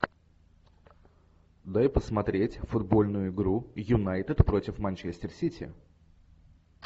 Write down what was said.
дай посмотреть футбольную игру юнайтед против манчестер сити